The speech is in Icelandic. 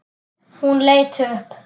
Hún leit upp.